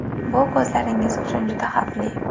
Bu ko‘zlaringiz uchun juda xavfli.